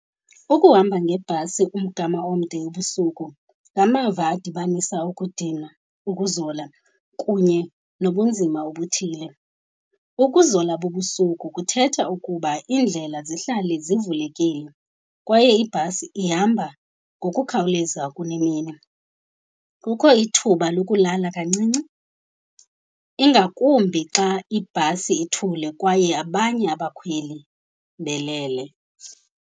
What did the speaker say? Ukuhamba ngebhasi umgama omde ebusuku ngamava adibanisa ukudinwa, ukuzola kunye nobunzima obuthile. Ukuzola bobusuku kuthetha ukuba iindlela zihlale zivulekile kwaye ibhasi ihamba ngokukhawuleza kunemini. Kukho ithuba lokulala kancinci, ingakumbi xa ibhasi ithule kwaye abanye abakhweli belele.